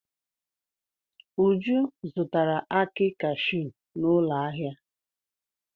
Uju zụtara akị cashew n'ụlọ ahịa.